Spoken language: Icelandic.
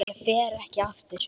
Ég fer ekki aftur.